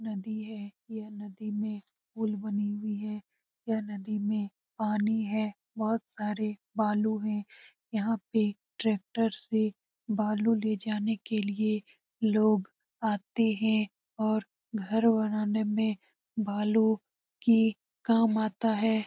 नदी है यह नदी में पुल बनी हुई है यह नदी में पानी है बहुत सारे बालू है यहाँ पे ट्रैक्टर से बालू ले जाने के लिए लोग आते हैं और घर बनाने में बालू की काम आता है ।